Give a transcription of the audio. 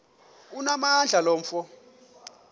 onamandla lo mfo